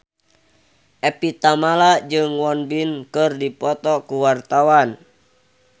Evie Tamala jeung Won Bin keur dipoto ku wartawan